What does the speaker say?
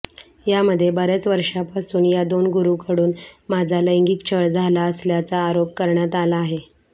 यामध्ये बर्याच वर्षांपासून या दोन गुरूंकडून माझा लैंगिक छळ झाला असल्याचा आरोप करण्यात आला आहे